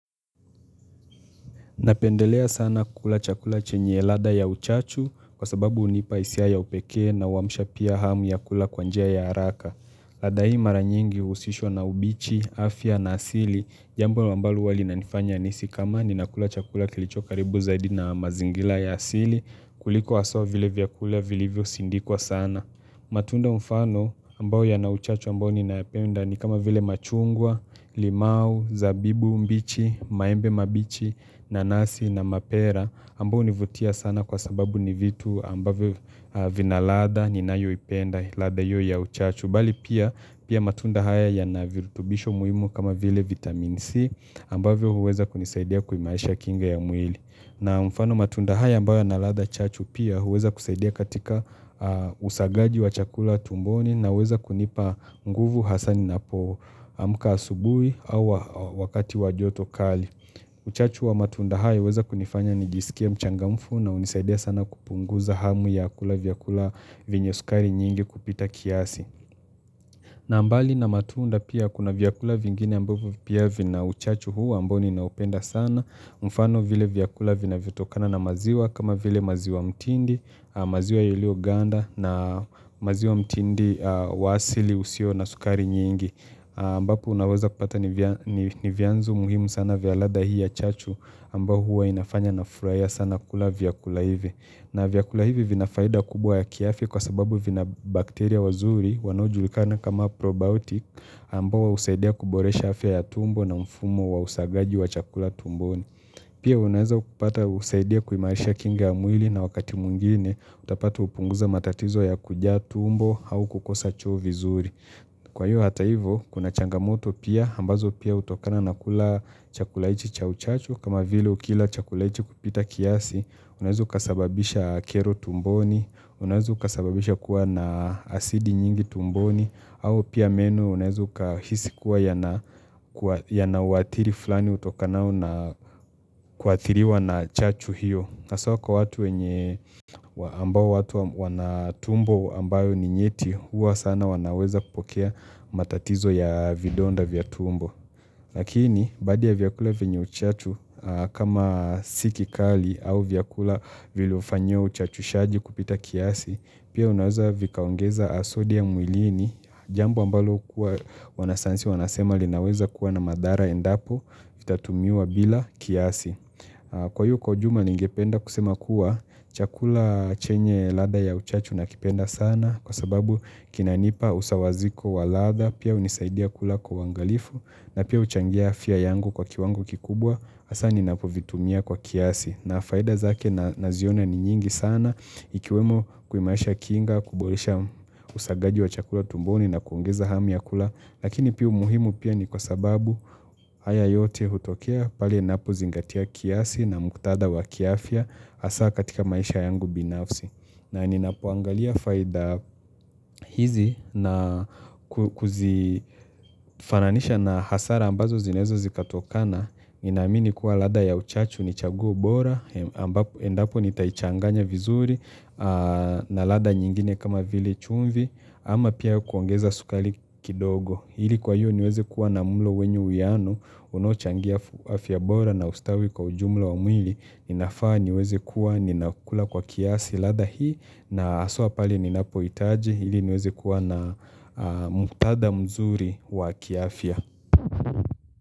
Napendelea sana kula chakula chenye ladha ya uchachu kwa sababu hunipa hisia ya upekee na huamsha pia hamu ya kula kwanjia ya haraka. Ladha hii mara nyingi uhusishwa na ubichi, afya na asili, jambo ambalo huwa linanifanya nihisi kama ni nakula chakula kilicho karibu zaidi na mazingila ya asili kuliko haswa vile vyakula vilivyo sindikwa sana. Na matunda mfano ambayo ya na uchacha ambayo ni naipenda ni kama vile machungwa, limau, zabibu, mbichi, maembe mbichi, nanasi, na mapera. Ambayo hunivutia sana kwa sababu ni vitu ambavyo vinaladha ni nayo ipenda ladha hiyo ya uchachu. Bali pia matunda haya ya na virrtubisho muhimu kama vile vitamin C ambayo huweza kunisaidia kuimarisha kinga ya mwili. Na mfano matunda haya ambayo na ladha chachu pia huweza kusaidia katika usagaji wa chakula tumboni na huweza kunipa nguvu hasa nina po amka asubuhi au wakati wajoto kali. Uchachu wa matunda hayo huweza kunifanya nijisikie mchangamfu na hunisaidia sana kupunguza hamu ya kula vyakula vyenye sukari nyingi kupita kiasi. Na mbali na matunda pia kuna vyakula vingine ambavyo pia vina uchachu huu ambao niinaupenda sana. Mfano vile vyakula vinavyotokana na maziwa kama vile maziwa mtindi, maziwa yalelio ganda na maziwa mtindi wa asili usio na sukari nyingi. Ambapo unaweza kupata ni vyanzo muhimu sana vya lada hii ya chachu ambayo hua inafanya na furahia sana kula vyakula hivi. Na vyakula hivi vinafaida kubwa ya kiafya kwa sababu vina bakteria wazuri wanaojulikana kama probiotik ambao husaidia kuboresha afya ya tumbo na mfumo wa usagaji wa chakula tumboni. Pia unaeza kupata husaidia kuimarisha kinga ya mwili na wakati mwingine utapata upunguzo wa matatizo ya kujaa tumbo au kukosa choo vizuri. Kwa hiyo hata hivo, kuna changamoto pia, ambazo pia hutokana na kula chakula hichi cha uchachu, kama vile ukila chakula hichi kupita kiasi, unaweza ukasababisha kero tumboni, unaweza ukasababisha kuwa na asidi nyingi tumboni, au pia meno unaweza ukahisi kuwa ya na watiri flani utokanao na kuathiriwa na chachu hiyo. Haswa kwa watu wenye ambao watu wana tumbo ambayo ni nyeti huwa sana wanaweza kupokea matatizo ya vidonda vya tumbo. Lakini baadhi ya vyakula vyenye uchatu kama si kikali au vyakula vilofanyiwa uchachushaji kupita kiasi pia unaweza vikaongeza sodium mwilini jambo ambalo kuwa wanasayansi wanasema linaweza kuwa na madhara endapo vitatumiwa bila kiasi. Kwa hiyo kwa ujulma ningependa kusema kuwa chakula chenye ladha ya uchachu nakipenda sana kwa sababu kinanipa usawaziko wa ladha pia hunisaidia kula kwa wangalifu na pia huchangia afya yangu kwa kiwango kikubwa hasa ninapovitumia kwa kiasi. Na faida zake na ziona ni nyingi sana ikiwemo kuimarisha kinga, kuboresha usagaji wa chakula tumboni na kuongeza hamu ya kula. Lakini pia umuhimu pia ni kwa sababu haya yote hutokea pali ninapo zingatia kiasi na muktadha wa kiafya hasa katika maisha yangu binafsi. Na ninapo angalia faida hizi na kuzifananisha na hasara ambazo zinaweza zikatokana Ninaamini kuwa ladha ya uchachu ni chaguo bora, endapo nitaichanganya vizuri na ladha nyingine kama vile chumvi, ama pia kuongeza sukari kidogo. Hili kwa hiyo niweze kuwa na mlo wenyu uiano, unaochangia afya bora na ustawi kwa ujumla wa mwili, inafaa niweze kuwa ni nakula kwa kiasi ladha hii, na haswa pale ni napohitaji, ili niweze kuwa na muktadha mzuri wa kiafya.